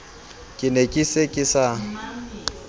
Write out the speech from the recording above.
ne ke se ke sa